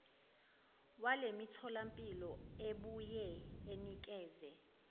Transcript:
walemitholampilo ebuye inikeze